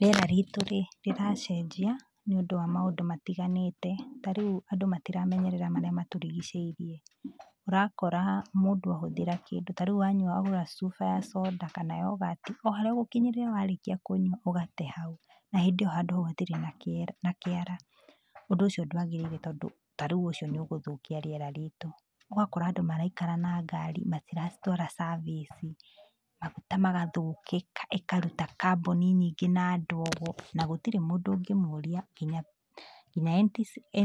Rĩera ritũ rĩ, rĩracenjia nĩũndũ wa mũndũ matiganĩte, ta rĩu andũ matiramenyerera marĩa matũrigicĩirie, ũrakora mũndũ ahũthĩra kĩndũ, ta rĩu wanyua wagũra cuba ya soda, kana yoghurt, o harĩa ũgũkinyĩrĩra warĩkia kũnyua ũgate hau, na hĩndĩ iyo handũ hau hatirĩ na kĩara. Ũndũ ũcio ndwagĩrĩire tondũ ta rĩu ũcio nĩugũthũkia rĩera ritũ. Ũgakora andũ maraikara na ngaari matiracitwara service, maguta magathũka ikaruta carbon nyingĩ na ndogo, na gũtirĩ mũndũ ũngĩmoria nginya